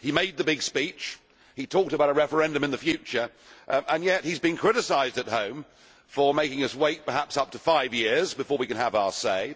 He made the big speech he talked about a referendum in the future, and yet he has been criticised at home for making us wait for perhaps up to five years before we can have our say.